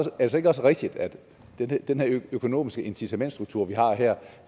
ikke også rigtigt at den her økonomiske incitamentsstruktur vi har her